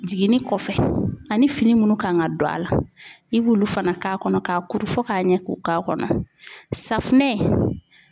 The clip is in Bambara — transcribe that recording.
Jiginni kɔfɛ ani fini minnu kan ka don a la i b'olu fana k'a kɔnɔ k'a kuru fɔ k'a ɲɛ k'o k'a kɔnɔ .Safunɛ